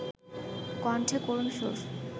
কণ্ঠে করুণ সুর